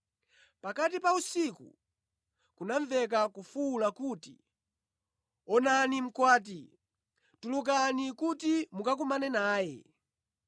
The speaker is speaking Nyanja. “Pakati pa usiku kunamveka kufuwula kuti, ‘Onani Mkwati! Tulukani kuti mukakumane naye!’